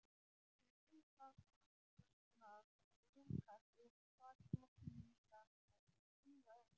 Viðarþiljurnar ljúkast upp og sakborningarnir stíga inn.